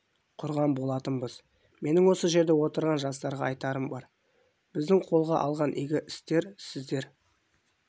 құрған болатынбыз менің осы жерде отырған жастарға айтарым бар біздің қолға алған игі істер сіздер